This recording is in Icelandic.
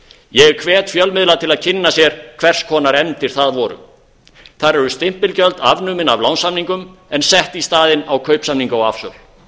ég hvet fjölmiðla til að kynna sér hvers konar efndir það voru þar eru stimpilgjöld afnumin af lánssamningum en sett í staðinn á kaupsamninga og afsöl